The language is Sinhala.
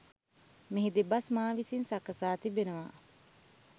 මෙහි දෙබස් මා විසින් සකසා තිබෙනවා.